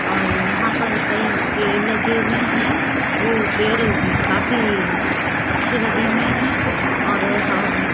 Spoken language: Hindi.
और यहां पर कई पेड़ लगी हुए है वो पेड़ काफी अच्छे लगे हुए हैं और हम --